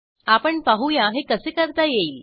आपण पाहूया हे कसे करता येईल